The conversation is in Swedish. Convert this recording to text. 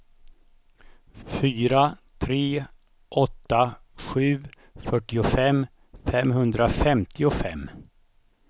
fyra tre åtta sju fyrtiofem femhundrafemtiofem